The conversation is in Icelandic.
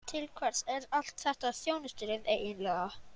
Til hvers er allt þetta þjónustulið eiginlega?